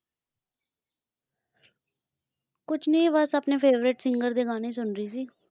ਕੁਝ ਨਹੀਂ ਬੱਸ ਆਪਣੇ Favourite Singer ਦੇ ਗਾਣੇ ਸੁਣ ਰਹੀ ਸੀ